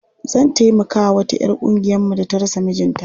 Zan taimakawa wata 'yar ƙungiyarmu da ta rasa mijinta.